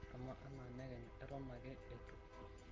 amaa enaa nekenyu eton akeee itu